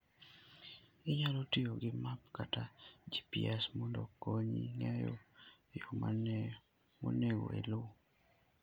Inyalo tiyo gi map kata GPS mondo okonyi ng'eyo yo monego iluw.